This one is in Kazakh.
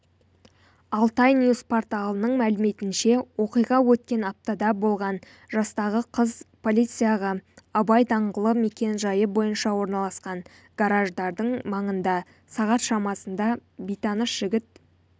алтайньюс порталының мәліметінше оқиға өткен аптада болған жастағы қыз полицияға абай даңғылы мекен-жайы бойынша орналасқан гараждардың маңында сағат шамасында бейтаныс жігіт